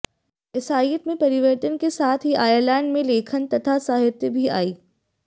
ईसाइयत में परिवर्तन के साथ ही आयरलैंड में लेखन तथा साहित्य भी आई